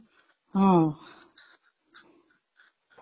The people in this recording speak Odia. ହଁ